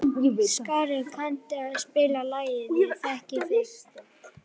Skari, kanntu að spila lagið „Ég þekki þig“?